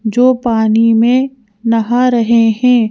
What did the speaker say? जो पानी मे नहा रहे हैं।